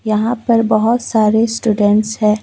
यहां पर बहुत सारे स्टूडेंट है।